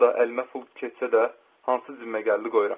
Harada əlimə pul keçsə də, hansı cibimə gəldi qoyuram.